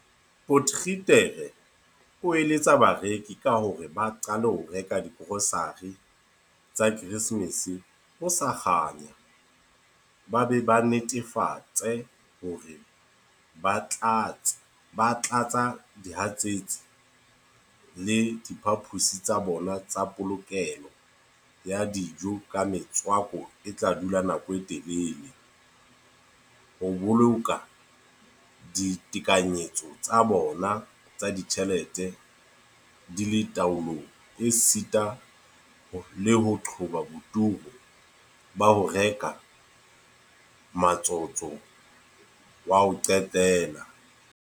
Potgieter o eletsa bareki ka hore ba qale ho reka digrosare tsa Keresemese ho sa kganya ba be ba netefatse hore ba tlatsa dihatsetsi le diphaposi tsa bona tsa polokelo ya dijo ka metswako e tla dula nako e telele, ho boloka ditekanyetso tsa bona tsa ditjhelete di le taolong esita le ho qoba boturu ba ho reka ka motsotso wa ho qetela.